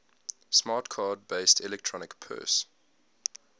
smart card based electronic purse